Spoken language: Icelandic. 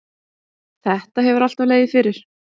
Þetta hefur alltaf legið fyrir.